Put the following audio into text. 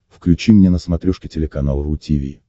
включи мне на смотрешке телеканал ру ти ви